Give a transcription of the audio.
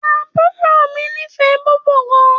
Àbúrò mi nífè bòbó gàn.